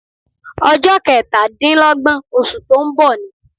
Ọjọ́ kẹtàdínlọ́gbọ̀n oṣù tó ń bọ̀ ni.